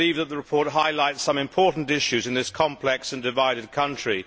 We believe that the report highlights some important issues in this complex and divided country.